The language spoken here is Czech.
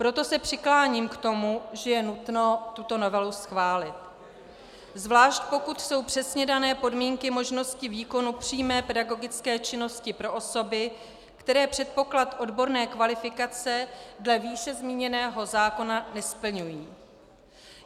Proto se přikláním k tomu, že je nutno tuto novelu schválit, zvlášť pokud jsou přesně dané podmínky možnosti výkonu přímé pedagogické činnosti pro osoby, které předpoklad odborné kvalifikace dle výše zmíněného zákona nesplňují.